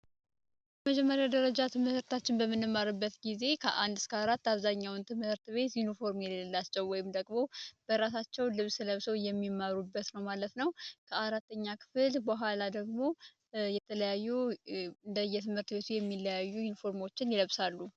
የመጀመሪያ ደረጃ ትምህርታችንን በምንማርበት ጊዜ ከአንድ እስከ አራት አብዛኛውን ትምህርት ቤት ዩኒፎርም የሌላቸው ወይም ደግሞ በራሳቸው ልብስ ለብሰው የሚማሩበት ነው ማለት ነው። ከአራተኛ ክፍል በኋላ ደግሞ የተለያዩ በየትምህርት ቤቱ የሚለያይ ዩኒፎርም ይለብሳሉ።